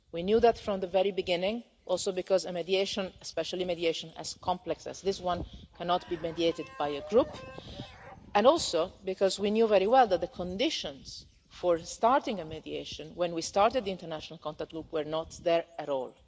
We knew that from the very beginning, also because mediation, especially a mediation as complex us this one, cannot be mediated by a group, and also because we knew very well that the conditions for starting mediation when we started the international contact group were not there at all.